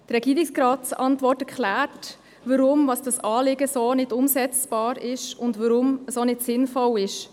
Die Antwort des Regierungsrats erklärt, warum dieses Anliegen so nicht umsetzbar und auch nicht sinnvoll ist.